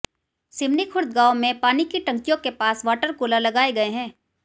सिवनीखुर्द गांव में पानी की टंकियों के पास वाटर कूलर लगाए गए हैं